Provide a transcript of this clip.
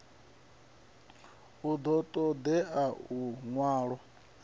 hu ḓo ṱo ḓea luṅwalo